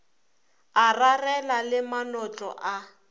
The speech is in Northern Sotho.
a rarela le manotlo a